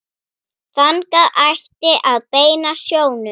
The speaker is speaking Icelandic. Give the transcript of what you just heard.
Þangað ætti að beina sjónum.